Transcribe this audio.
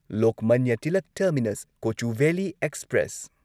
Lokmanya Tilak terminus Kochuveli express